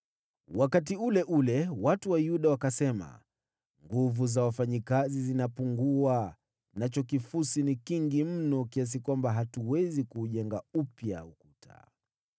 Wakati ule ule, watu wa Yuda wakasema, “Nguvu za wafanyakazi zinapungua, nacho kifusi ni kingi mno, kiasi kwamba hatuwezi kuujenga upya ukuta.”